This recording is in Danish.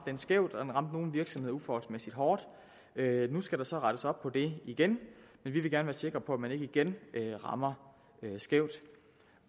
den skævt og den ramte nogle virksomheder uforholdsmæssigt hårdt nu skal der så rettes op på det igen men vi vil gerne være sikre på at man ikke igen rammer skævt